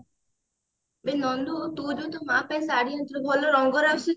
ଏ ନନ୍ଦୁ ତୁ ବି ତୋ ମା ପାଇଁ ଶାଢୀ ଆଣିଥିଲୁ ଭଲ ରଙ୍ଗର ଆସୁଛି